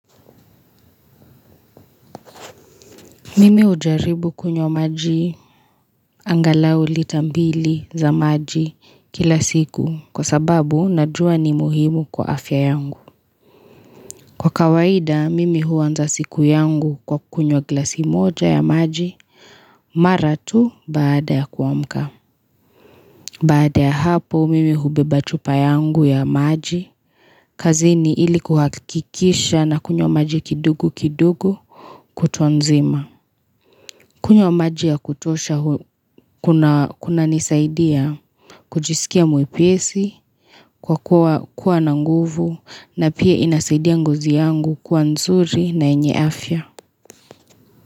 Mimi hujaribu kunywa maji angalau lita mbili za maji kila siku kwa sababu najua ni muhimu kwa afya yangu. Kwa kawaida, mimi huanza siku yangu kwa kunywa glasi moja ya maji mara tu baada ya kuamka. Baada ya hapo, mimi hubeba chupa yangu ya maji kazini ili kuhakikisha nakunywa maji kidogo kidogo kutwa nzima. Kunywa maji ya kutosha kunanisaidia kujisikia mwepesi kwa kuwa na nguvu na pia inasaidia ngozi yangu kuwa nzuri na yenye afya.